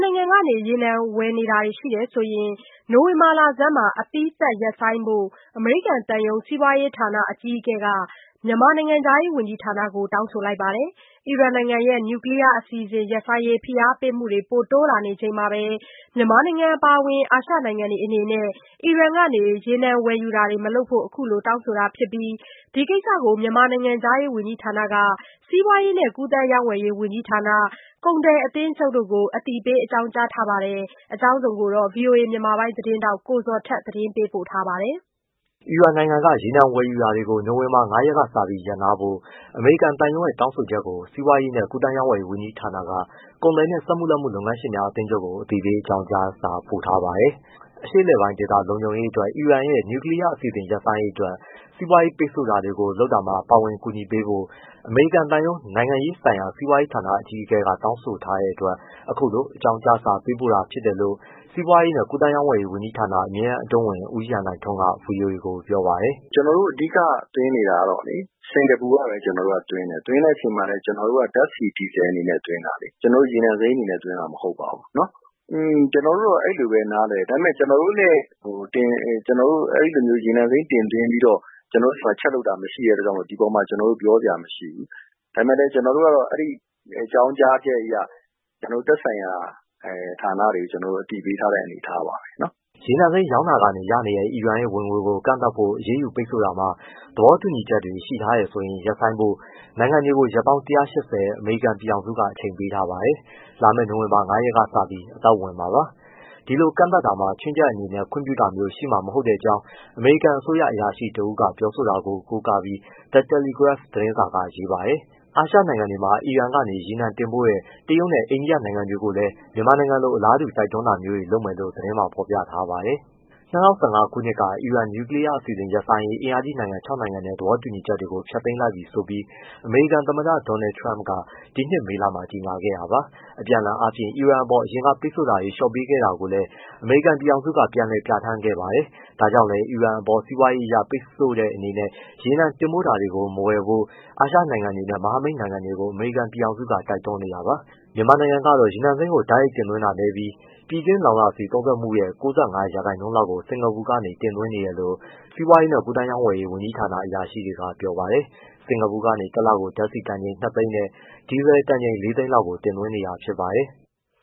နိုင်ငံက ရေနံဝယ်တာတွေရှိရင် နိုဝင်ဘာလဆန်းမှာအပြီးသတ်ရပ်ဆိုင်းဖို့ အမေရိကန်သံရုံး စီးပွားရေးဌာန အကြီးအကဲက မြန်မာနိုင်ငံခြားရေးဝန်ကြီးဌာနကို တောင်းဆိုထားပါတယ်။ အီရန်နိုင်ငံရဲ့ နျူကလီယား အစီ အစဉ် ရပ်ဆိုင်းရေးဖိအားပေးမှုတွေတိုးလာနေချိန်မှာ မြန်မာနိုင်ငံ အပါအဝင်အာရှနိုင်ငံတွေအနေနဲ့အီရန်က ရေနံ ဝယ်ယူတာတွေမလုပ်ဖို့ အခုလို တောင်းဆိုတာ ဖြစ်ပြီး ဒီကိစ္စကို မြန်မာနိုင်ငံခြားရေးဝန်ကြီးဌာနက စီးပွားရေးနဲ့ ကူးသန်းရောင်းဝယ်ရေးဝန်ကြီးဌာန ကုန်သည်အသင်းချုပ်ကိုအသိပေးအကြောင်းကြားထားပါတယ်။ အကြောင်းစုံကို ဗွီအိုအေ မြန်မာ ပိုင်း သတင်းထောက် ကိုဇော်ထက်က သတင်းပေးပို့ထားပါတယ်။ အီရန်နိုင်ငံက ရေနံဝယ်ယူတာတွေ နိုဝင်ဘာ ၅ ရက်ကစပြီးရပ်နားဖို့အမေရိကန်သံရုံးရဲ့ တောင်းဆို ချက်ကို စီးပွားရေးနဲ့ကူးသန်းရောင်းဝယ်ရေးဝန်ကြီးဌာနက ကုန်သည်နှင့်စက်မှုလက်မှု လုပ်ငန်း ရှင်များ အသင်းချုပ်ကို အသိပေးအကြောင်းကြားစာ ပေးပို့ထားပါတယ်။ အရှေ့ အလယ်ပိုင်းဒေသ လုံခြုံရေးအတွက် အီရန်နိုင်ငံရဲ့ နျူကလီယားအစီအစဉ်ရပ်ဆိုင်းရေး အတွက် စီးပွားရေး ပိတ်ဆို့ တာတွေ လုပ်တာမှာ ပါဝင်ကူညီပေးဖို့ အမေရိကန် သံရုံး နိုင်ငံရေးဆိုင်ရာ စီးပွားရေးဌာန အကြီး အကဲ က တောင်းဆိုတဲ့အတွက် အခုလိုအကြောင်းကြားစာ ပေးပို့တာ ဖြစ်တယ်လို့ စီးပွားရေးနဲ့ ကူးသန်း ရောင်းဝယ်ရေးဝန်ကြီးဌာနအမြဲတမ်းအတွင်းဝန် ဦးရန်နိုင်ထွန်းက VOA ကို ပြောပါတယ်။ “ကျနော်တို့ အဓိကသွင်းနေတာကတော့လေ စင်္ကာပူကပဲ အဓိကသွင်းတယ်သွင်းတဲ့အချိန်မှာလည်း ကျနော် တို့က ဓာတ်ဆီ၊ ဒီဇယ်အနေနဲ့သွင်းတာလေ။ ကျနော်တို့ ရေနံစိမ်းအနေနဲ့သွင်းတာ မဟုတ် ပါဘူး။ ကျနော်တို့တော့ အဲဒီလိုပဲနားလည်တယ်။ ဒါပေမဲ့ ကျနော်တို့ အဲဒီလိုမျိုး ရေနံစိမ်းတင် သွင်းပြီးတော့ ကျနော်တို့မှာ ချက်လုပ်တာ မရှိတဲ့အတွက်ကြောင့်မို့ ဒီပေါ်မှာ ပြောစရာမရှိဘူး။ ဒါပေမဲ့ ကျနော်တို့က အဲဒီအကြောင်းကြားချက်အရ ကျနော် တို့ သက်ဆိုင်ရာဌာနတွေကို အသိပေးထားတဲ့ အနေအထားပါပဲ။” ရေနံစိမ်းရောင်းတာကနေ ရနေတဲ့အီရန်ရဲ့ဝင်ငွေကိုကန့်သတ်ဖို့ အရေးယူပိတ်ဆို့ရာမှာ သဘော တူညီချက်တွေ ရှိထားတယ်ဆိုရင်ရပ်ဆိုင်းဖို့ နိုင်ငံတွေကို ရက်ပေါင်း ၁၈၀ အမေရိကန်ပြည် ထောင်စုက အချိန်ပေးထားပါတယ်။ လာမယ့် နိုဝင်ဘာ ၅ ရက်ကစပြီး အသက်ဝင်မှာပါ။ ဒီလိုကန့်သတ်ရာမှာ ခြွင်းချက်အနေနဲ့ခွင့်ပြုတာမျိုးရှိမှာမဟုတ်တဲ့အကြောင်း အမေရိကန်အစိုးရ အရာရှိတဦးက ပြောဆိုတာကို ကိုးကားပြီးThe Telegraph သတင်းစာက ရေးပါတယ်။ အာရှ နိုင်ငံတွေထဲမှာ အီရန်ကနေ ရေနံ တင်ပို့တဲ့ တရုတ်နဲ့အိန္ဒိယနိုင်ငံတွေကိုလည်း မြန်မာနိုင်ငံလို အလားတူတိုက်တွန်းတာတွေလုပ်မယ်လို့သတင်းမှာ ဖေါ်ပြပါတယ်။ ၂၀၁၅ ခုနှစ်က အီရန် နျူကလီယားအစီအစဉ် ရပ်ဆိုင်းရေး အင်အားကြီးနိုင်ငံ ခြောက်နိုင်ငံနဲ့ သဘော တူညီချက် တွေကို ဖျက်သိမ်းလိုက်ပြီဆိုပြီးအမေရိကန်သမ္မတDonald Trump က ဒီနှစ်မေလမှာ ကြေညာခဲ့တာပါ။ အပြန် အလှန်အားဖြင့် အီရန်အပေါ် အရင်ကပိတ်ဆို့မှုတွေ လျော့ပေးခဲ့တာကိုလည်း အမေရိကန်ပြည်ထောင်စု က ပြန်လည် ပြဌာန်းခဲ့ပါတယ်။ ဒါကြောင့်လည်း အီရန်အပေါ်စီးပွားရေးအရပိတ်ဆို့တဲ့အနေနဲ့ ရေနံတင်ပို့တာတွေကို မဝယ်ဖို့ အာရှနိုင်ငံတွေနဲ့ မဟာမိတ်နိုင်ငံတွေကိုအမေရိကန်ပြည်ထောင်စုကတိုက်တွန်းနေတာပါ။ မြန်မာနိုင်ငံကတော့ ရေနံစိမ်းကို တိုက်ရိုက်တင်သွင်းတာနည်းပြီး ပြည်တွင်းလောင်စာဆီသုံးစွဲမှုရဲ့ ၉၅ ရာခိုင် နှုန်း လောက်ကို စင်္ကာပူကနေ တင်သွင်းနေတယ်လို့ စီးပွားရေးနဲ့ကူးသန်း ရောင်း ဝယ်ရေး ဝန်ကြီးဌာန အရာရှိ တွေက ပြောပါတယ်။ စင်္ကာပူကနေ တလကို ဓာတ်ဆီတန်ချိန် ၂၀၀,၀၀၀ နဲ့ဒီဇယ်တန်ချိန် ၄၀၀,၀၀၀ တင် သွင်း နေတာဖြစ်ပါတယ်။